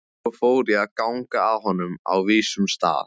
Svo fór ég að ganga að honum á vísum stað.